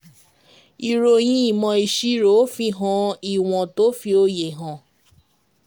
Ìròyìn ìmò ìṣirò fihan ìwọ̀n tó fi òye hàn.